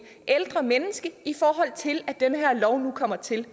ældre menneske når den her lov nu kommer til